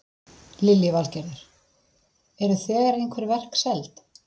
Lillý Valgerður: Eru þegar einhver verk seld?